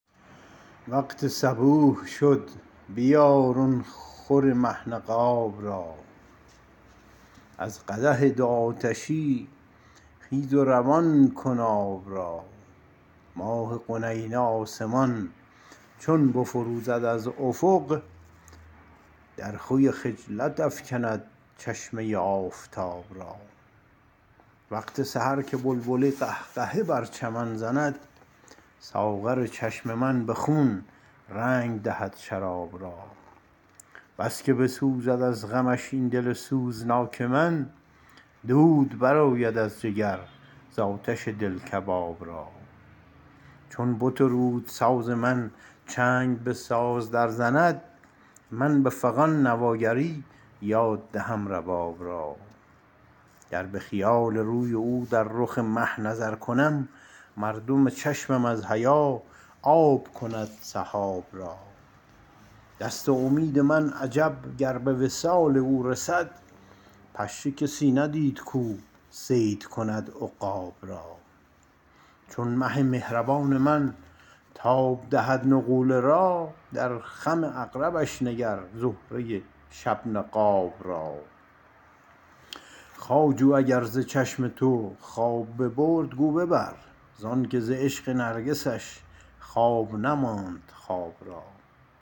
وقت صبوح شد بیار آن خور مه نقاب را از قدح دو آتشی خیز و روان کن آب را ماه قنینه آسمان چون بفروزد از افق در خوی خجلت افکند چشمه ی آفتاب را وقت سحر که بلبله قهقهه برچمن زند ساغر چشم من بخون رنگ دهد شراب را بسکه بسوزد از غمش ایندل سوزناک من دود بر آید از جگر ز آتش دل کباب را چون بت رود ساز من چنگ به ساز در زند من بفغان نواگری یاد دهم رباب را گر بخیال روی او در رخ مه نظر کنم مردم چشمم از حیا آب کند سحاب را دست امید من عجب گر بوصال او رسد پشه کسی ندید کو صید کند عقاب را چون مه مهربان من تاب دهد نغوله را در خم عقربش نگر زهره ی شب نقاب را خواجو اگر ز چشم تو خواب ببرد گو ببر زانکه ز عشق نرگسش خواب نماند خواب را